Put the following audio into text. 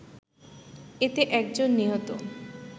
এতে একজন নিহত